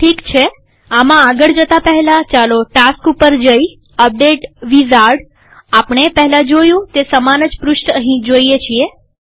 ઠીક છેઆમાં આગળ જતા પહેલાચાલો ટાસ્ક ઉપર જઈઅપડેટ વિઝાર્ડ- આપણે પહેલા જોયું તે સમાન જ પૃષ્ઠ અહીં જોઈએ છીએ